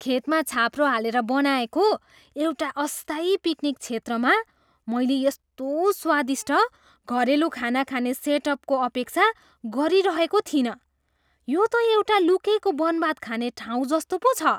खेतमा छाप्रो हालेर बनाएको एउटा अस्थायी पिकनिक क्षेत्रमा मैले यस्तो स्वादिष्ट घरेलु खाना खाने सेटअपको अपेक्षा गरिरहेको थिइनँ! यो त एउटा लुकेको बनभात खाने ठाउँ जस्तो पो छ!